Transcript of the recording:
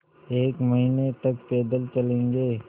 एक महीने तक पैदल चलेंगे